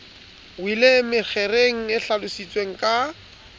weleng mekgeng e hlalositsweng ka